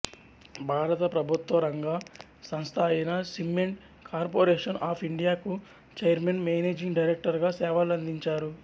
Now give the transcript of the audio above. భారత ప్రభుత్వ రంగ సంస్థ అయిన సిమ్మెంట్ కార్పొరేషన్ ఆఫ్ ఇండియాకు ఛైర్మన్ మేనేజింగ్ డైరెక్టర్ గా సేవలందించారు